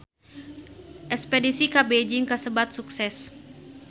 Espedisi ka Beijing kasebat sukses